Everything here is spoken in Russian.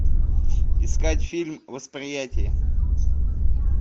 искать фильм восприятие